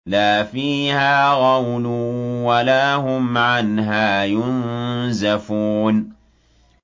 لَا فِيهَا غَوْلٌ وَلَا هُمْ عَنْهَا يُنزَفُونَ